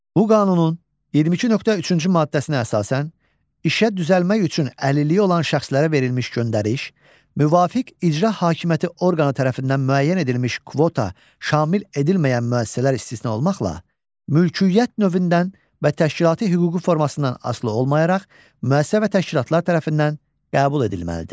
Bu qanunun 22.3-cü maddəsinə əsasən işə düzəlmək üçün əlilliyi olan şəxslərə verilmiş göndəriş, müvafiq icra hakimiyyəti orqanı tərəfindən müəyyən edilmiş kvota şamil edilməyən müəssisələr istisna olmaqla, mülkiyyət növündən və təşkilati hüquqi formasından asılı olmayaraq, müəssisə və təşkilatlar tərəfindən qəbul edilməlidir.